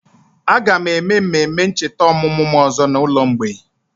Aga m eme mmemme ncheta ọmụmụ m ọzọ n'ụlọ mgbei